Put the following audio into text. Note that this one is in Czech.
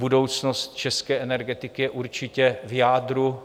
Budoucnost české energetiky je určitě v jádru.